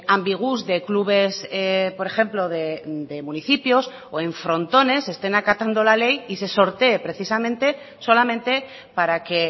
ambigús de clubes por ejemplo de municipios o en frontones estén acatando la ley y se sortee precisamente solamente para que